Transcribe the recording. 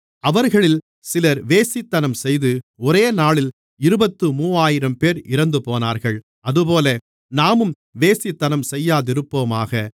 அவர்களில் சிலர் வேசித்தனம்செய்து ஒரேநாளில் இருபத்து மூவாயிரம்பேர் இறந்துபோனார்கள் அதுபோல நாமும் வேசித்தனம்செய்யாதிருப்போமாக